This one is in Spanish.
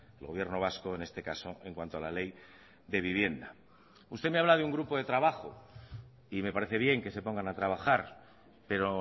el gobierno vasco en este caso en cuanto a la ley de vivienda usted me habla de un grupo de trabajo y me parece bien que se pongan a trabajar pero